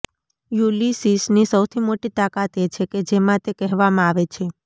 યુલિસિસની સૌથી મોટી તાકાત એ છે કે જેમાં તે કહેવામાં આવે છે